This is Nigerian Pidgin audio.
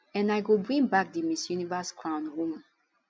and i go bring back di miss universe crown home